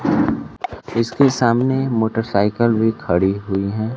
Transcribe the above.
इसके सामने मोटरसाइकिल भी खड़ी हुई है।